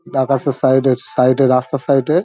আকাশের সাইড এ সাইড এ রাস্তার সাইড এ।